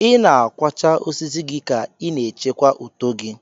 Ị na-akwacha osisi gị ka ị na-echekwa uto gị.